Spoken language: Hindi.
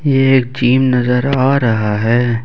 ये एक जिम नज़र आ रहा है।